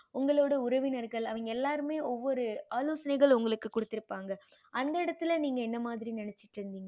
உங்களோட உறவினர்கள் அவிங்க எல்லாருமே ஒவ்வொரு ஆலோசனைகள் உங்களுக்கு குடுத்திருபாங்க அந்த இடத்துல நீங்க எந்த மாறி நெனச்சிட்டு இருந்திங்க